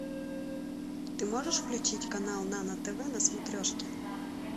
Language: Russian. ты можешь включить канал нано тв на смотрешке